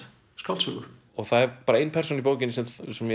skáldsögu það er bara ein persóna í bókinni sem